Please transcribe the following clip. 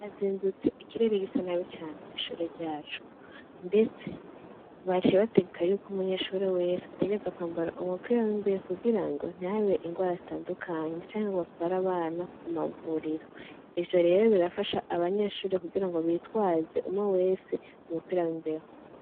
Azinzutse ikireri gisa nabi cane kw'ishure ryacu, ndetse baciye bategeka yuko umunyeshuri wese ategerza kwambara umupira w'imbeye kugira ngo ntahabee ingwara zitandukanyi canke ngo batwara abana ku mavuriro ivyo rero birafasha abanyeshuri kugira ngo bitwaze umwo wese mu mupira w'imbeho.